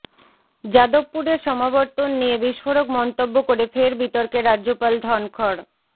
যাদবপুরের সমাবর্তন নিয়ে বিস্ফোরক মন্তব্য করে ফের বিতর্কে রাজ্যপাল ধনখড়